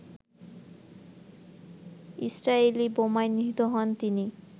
Israeli বোমায় নিহত হন তিনি